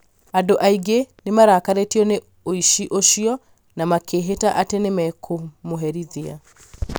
andũ aingĩ nĩ marakarĩtio nĩ ũici ũcio na makĩĩhĩta atĩ nĩ mekũmũherithia